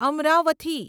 Amaravathi